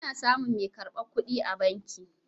Ana samun mai karbar kuɗi a banki.